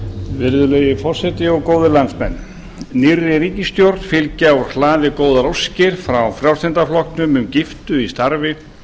virðulegi forseti góðir landsmenn nýrri ríkisstjórn fylgja úr hlaði góðar óskir frá frjálslynda flokknum um giftu í starfi